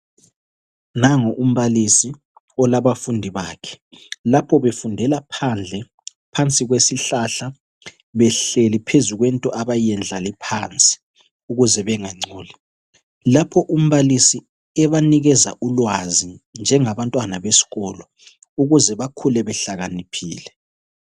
Nangu umbalisi olabufundi bakhe , lapho befundela phandle phansi kwesihlahla behleli phezu kwento abayendlale phansi ukuze bengangcoli , lapho umbalisi ebanikeza ulwazi njengabantwana besikolo ukuze bakhule bahlakaniphile